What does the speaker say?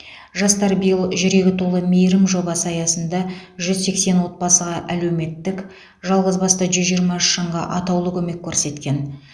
жастар биыл жүрегі толы мейірім жобасы аясында жүз сексен отбасыға әлеуметтік жалғызбасты жүз жиырма үш жанға атаулы көмек көрсеткен